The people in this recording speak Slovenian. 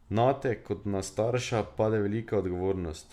Nate, kot na starša, pade velika odgovornost.